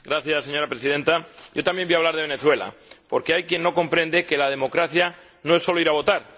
Señora Presidenta, yo también voy a hablar de Venezuela, porque hay quien no comprende que la democracia no es solo ir a votar.